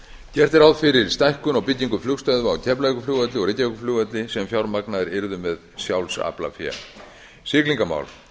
gert er ráð fyrir stækkun á byggingu flugstöðva á keflavíkurflugvelli og reykjavíkurflugvelli sem fjármagnaðar yrðu með sjálfsaflafé siglingamál